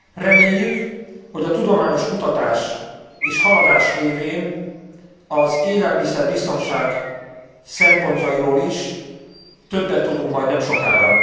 Reméljük, hogy a tudományos kutatás és haladás révén az élelmiszer biztonság szempontjairól is többet tudunk majd nemsokára.